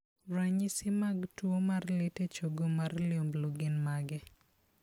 Ranyisi mag tuo mar lit e chogo mar liumblu gin mage?